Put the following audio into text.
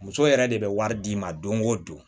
Muso yɛrɛ de bɛ wari d'i ma don o don